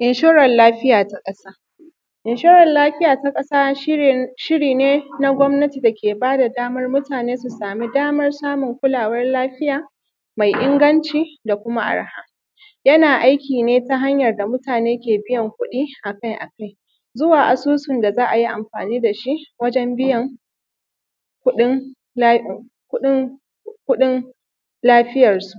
Inshuran lafiya ta ƙasa. Inshuran lafiya ta ƙasa shiri ne na gwamnati dake bada daman mutane su daman samun kulawan lafiya mai inganci da kuma arha. Yana aiki ne ta hanyar da mutane ke biyan kuɗi akai akai zuwa asusun da za’ayi amfani dashi wajen biyan kuɗin lafiyar su.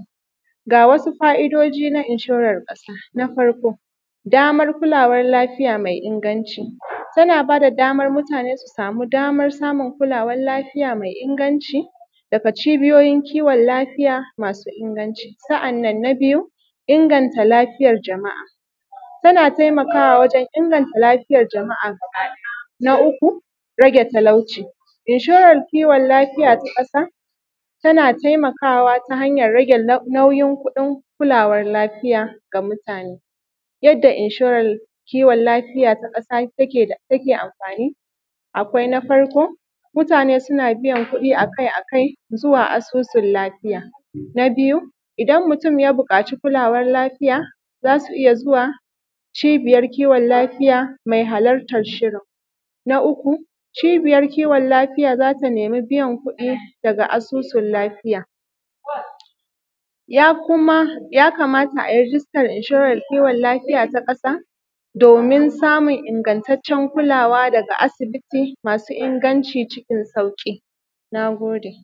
Ga wasu fa’idiji na inshuran ƙasa. Na farko damar kulawar lafiya mai inganci tana bada daman mutane su samu damar samun kulawar lafiya mai inganci daga cibiyoyin kiwon lafiya masu inganci. Sa’annan na biyu inganta lafiyar jama’a tana taimakawawajen inganta lafiyar jama’a samari. Na uku rage talauci, inshoran kiwon lafiya ta ƙasa tana taimakawa ta hanyan rage nauyin kuɗin kulawar lafiya ga mutane. Yadda inshuran kiwon lafiya ta ƙasa take amfani akwai na farko mutane suna biyan kuɗi akai akai zuwa asusun lafiya. A biyu idan mutun ya buƙaci kulawar lafiya zasu iyya zuwa cibiyar kiwon lafiya mai halartar shirin. Na uku cibiyar kiwon lafiya zata nemi biyan kuɗi daga asusun lafiya. Yakamata ayi rigistan inshurance kiwon lafiya ta ƙasadomin ingattacen kulawa daga asibiti masu inganci cikin sauki. Nagode